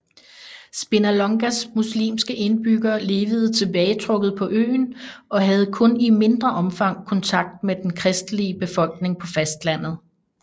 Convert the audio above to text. Spinalongas muslimske indbyggere levede tilbagetrukket på øen og havde kun i mindre omfang kontakt med den kristelige befolkning på fastlandet